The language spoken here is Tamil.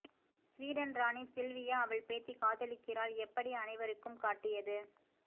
ஸ்வீடன் ராணி சில்வியா அவள் பேத்தி காதலிக்கிறாள் எப்படி அனைவருக்கும் காட்டியது